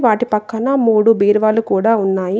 వాటి పక్కన మూడు బీరువాలు కూడా ఉన్నాయి.